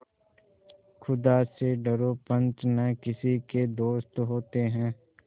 खुदा से डरो पंच न किसी के दोस्त होते हैं